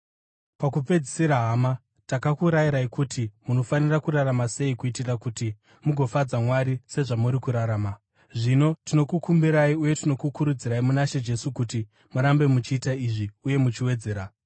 Pakupedzisira, hama, takakurayirai kuti munofanira kurarama sei kuitira kuti mugofadza Mwari, sezvamuri kurarama. Zvino tinokukumbirai uye tinokukurudzirai muna She Jesu kuti murambe muchiita izvi uye muchiwedzera.